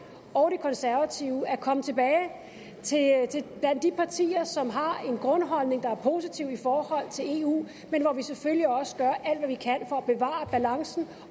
og konservative at komme tilbage blandt de partier som har en grundholdning der er positiv i forhold til eu men hvor vi selvfølgelig også gør alt hvad vi kan for at bevare balancen